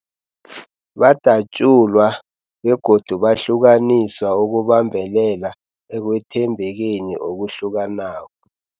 Badatjulwa yegodu bahlukaniswa ukubambelela ekwethembekeni okuhlukanako.